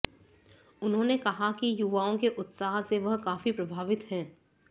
उन्होंने कहा कि युवाओं के उत्साह से वह काफी प्रभावित हैं